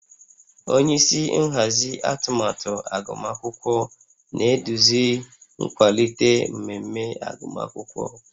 Onye isi nhazi atụmatụ agụmakwụkwọ na-eduzi nkwalite mmemme agụmakwụkwọ